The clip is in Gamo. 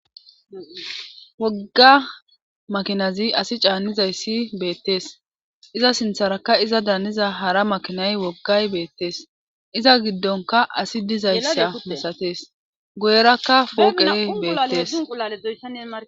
Wogga makinazi asi caannizayssi beettees iza sintharaka iza daaniza hara makinay woggay beettees iza giddonka asi dizayssa misatees goyerakka pooqee beettees.